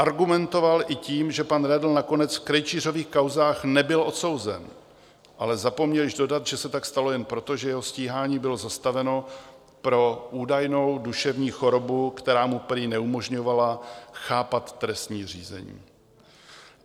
Argumentoval i tím, že pan Redl nakonec v Krejčířových kauzách nebyl odsouzen, ale zapomněl již dodat, že se tak stalo jen proto, že jeho stíhání bylo zastaveno pro údajnou duševní chorobu, která mu prý neumožňovala chápat trestní řízení.